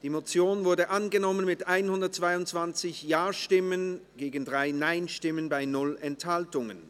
Sie haben die Motion angenommen, mit 122 Ja- gegen 3 Nein-Stimmen bei 0 Enthaltungen.